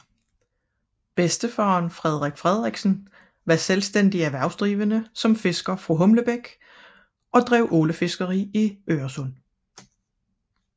Farfaren Frederik Frederiksen var selvstændig erhvervsdrivende som fisker fra Humlebæk og drev ålefiskeri i Øresund